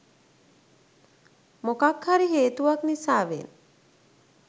මොකක් හරි හේතුවක් නිසාවෙන්.